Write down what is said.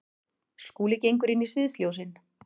Skúli gengur inn í sviðsljósin.